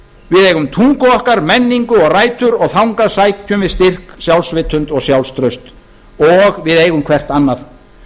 við eigum tungu okkar menningu og rætur og þangað sækjum við styrk sjálfsvitund og sjálfstraust og við eigum hvert annað